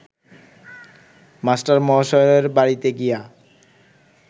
মাস্টারমহাশয়ের বাড়িতে গিয়া